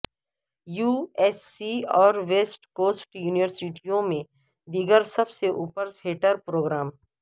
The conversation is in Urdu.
یو ایس سی اور ویسٹ کوسٹ یونیورسٹیوں میں دیگر سب سے اوپر تھیٹر پروگرام